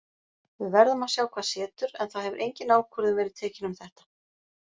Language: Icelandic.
Við verðum að sjá hvað setur en það hefur engin ákvörðun verið tekin um þetta.